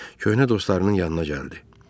Köhnə dostlarının yanına gəldi.